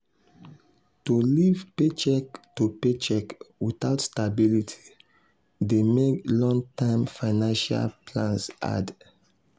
to live paycheck to paycheck without stability dey mek long-term financial plans hard.